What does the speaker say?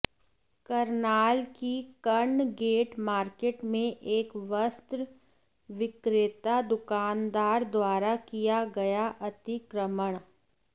करनाल की Karna gate market में एक वस्त्र विक्रेता दुकानदार द्वारा किया गया अतिक्रमण